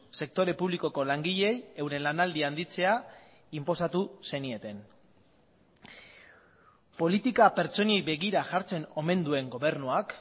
sektore publikoko langileei euren lanaldia handitzea inposatu zenieten politika pertsonei begira jartzen omen duen gobernuak